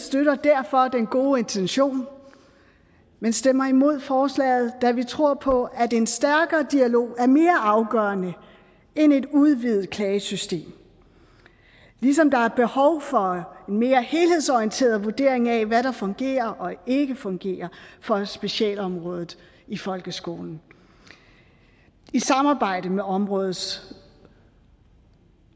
støtter derfor den gode intention men stemmer imod forslaget da vi tror på at en stærkere dialog er mere afgørende end et udvidet klagesystem ligesom der er behov for mere helhedsorienteret vurdering af hvad der fungerer og ikke fungerer for specialområdet i folkeskolen i samarbejde med områdets